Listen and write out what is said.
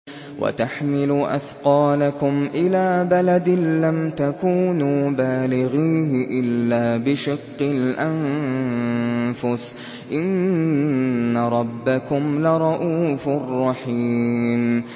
وَتَحْمِلُ أَثْقَالَكُمْ إِلَىٰ بَلَدٍ لَّمْ تَكُونُوا بَالِغِيهِ إِلَّا بِشِقِّ الْأَنفُسِ ۚ إِنَّ رَبَّكُمْ لَرَءُوفٌ رَّحِيمٌ